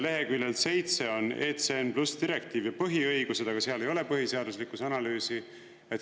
Leheküljel 7 on, et ECN+ direktiivi põhiõigused, aga seal ei ole põhiseaduslikkuse analüüsi.